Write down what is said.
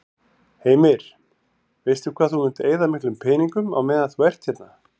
Heimir: Veistu hvað þú munt eyða miklum peningum á meðan þú ert hérna?